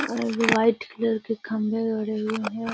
और white colour के खम्बे गड़े हुए है।